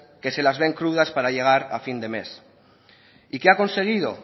que se las ven crudas para llegar a fin de mes y qué ha conseguido